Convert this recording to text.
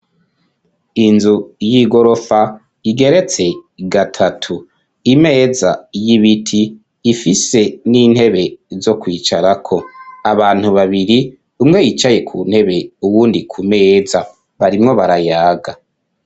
Inzu y'igorofa igeretse gatatu imeza y'ibiti ifise n'intebe zo kwicarako abantu babiri umwe yicaye ku ntebe uwundi ku meza barimwo barayaga.